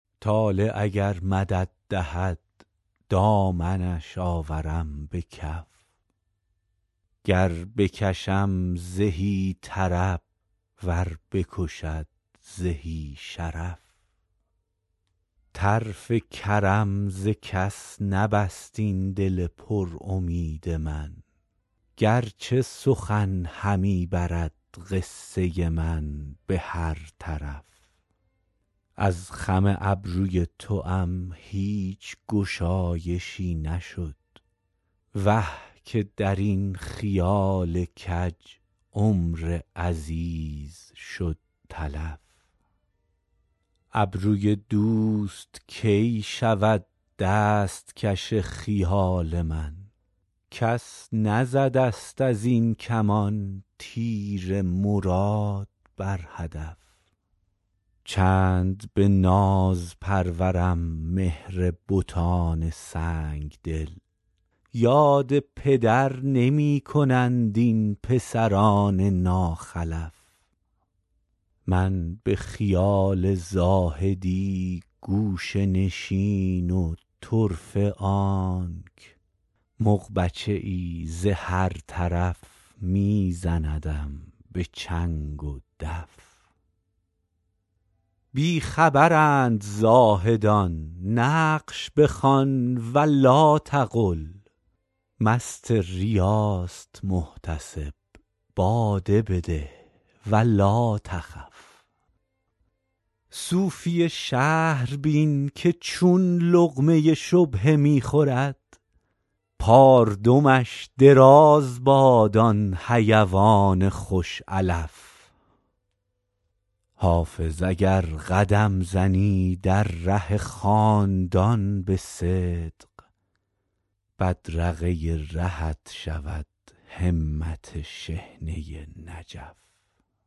طالع اگر مدد دهد دامنش آورم به کف گر بکشم زهی طرب ور بکشد زهی شرف طرف کرم ز کس نبست این دل پر امید من گر چه سخن همی برد قصه من به هر طرف از خم ابروی توام هیچ گشایشی نشد وه که در این خیال کج عمر عزیز شد تلف ابروی دوست کی شود دست کش خیال من کس نزده ست از این کمان تیر مراد بر هدف چند به ناز پرورم مهر بتان سنگ دل یاد پدر نمی کنند این پسران ناخلف من به خیال زاهدی گوشه نشین و طرفه آنک مغبچه ای ز هر طرف می زندم به چنگ و دف بی خبرند زاهدان نقش بخوان و لاتقل مست ریاست محتسب باده بده و لاتخف صوفی شهر بین که چون لقمه شبهه می خورد پاردمش دراز باد آن حیوان خوش علف حافظ اگر قدم زنی در ره خاندان به صدق بدرقه رهت شود همت شحنه نجف